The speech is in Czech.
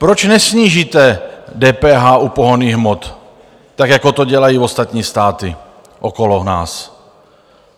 Proč nesnížíte DPH u pohonných hmot tak, jako to dělají ostatní státy okolo nás?